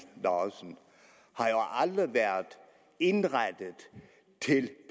lauritzen har aldrig været indrettet til